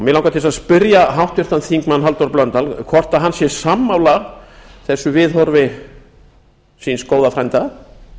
mig langar til þess að spyrja háttvirtan þingmann halldór blöndal hvort hann sé sammála þessu viðhorfi síns góða frænda